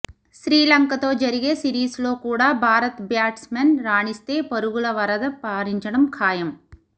శ్రీలంకతో జరిగే సిరీస్ లో కూడా భారత బ్యాట్స్ మెన్ రాణిస్తే పరుగల వరద పారించడం ఖాయం